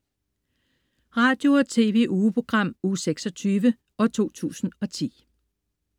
Radio- og TV-ugeprogram Uge 26, 2010